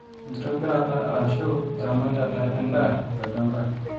enktobirata aashu eramatata endaa tolchamba